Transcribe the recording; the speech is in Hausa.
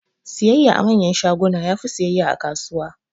Siyayya a manyan shaguna yafi siyayya a kasuwa